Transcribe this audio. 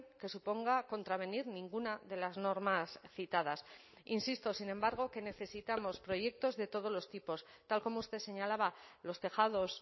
que suponga contravenir ninguna de las normas citadas insisto sin embargo que necesitamos proyectos de todos los tipos tal como usted señalaba los tejados